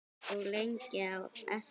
Og lengi á eftir.